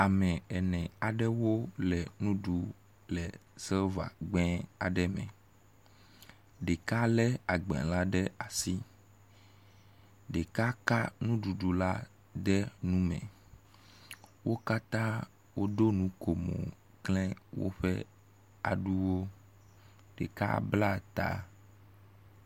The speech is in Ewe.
Ame ene aɖewo le nu ɖum le silva gbɛ aɖe me. Ɖeka le agba la ɖe asi, ɖeka ka nuɖuɖu la de nu me. Wo katã woɖo nukomo kle woƒe aɖuwo. Ɖeka bla ta.